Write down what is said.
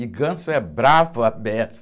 E ganso é bravo a beça.